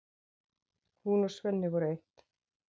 Hún og Svenni voru eitt.